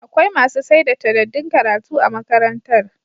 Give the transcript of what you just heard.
Akwai masu saida tadaddun karatu a magakantar